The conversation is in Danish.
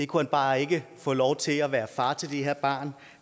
kunne bare ikke få lov til at være far til det her barn